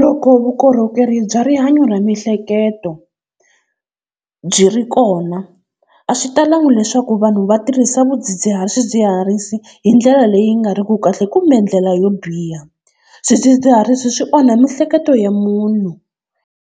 loko vukorhokeri bya rihanyo ra miehleketo byi ri kona a swi talanga leswaku vanhu va tirhisa swidzidziharisi hi ndlela leyi nga ri ku kahle kumbe ndlela yo biha. Swidzidziharisi swi onha mihleketo ya munhu.